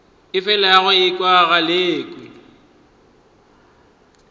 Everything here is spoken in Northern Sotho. o felago o ekwa galekwe